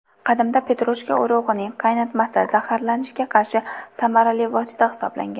Qadimda petrushka urug‘ining qaynatmasi zaharlanishga qarshi samarali vosita hisoblangan.